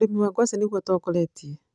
ũrĩmi wa ngwacĩ nĩguo ũtongeretie